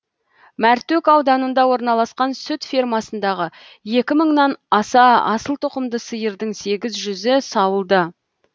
мәртөк ауданында орналасқан сүт фермасындағы екі мыңнан аса асыл тұқымды сиырдың сегіз жүзі сауылды